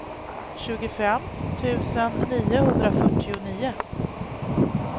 tjugofem tusen niohundrafyrtionio